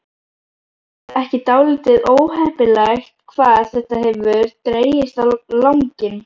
Er ekki dálítið óheppilegt hvað þetta hefur dregist á langinn?